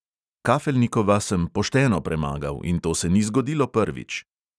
Kafelnikova sem pošteno premagal in to se ni zgodilo prvič.